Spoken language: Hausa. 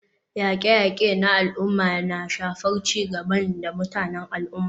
Yaƙe-yaƙe na al'umma na iya shafar ci gaban da mutanen al'umma.